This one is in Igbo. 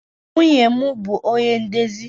Nwunye m bụ ọnye ndezi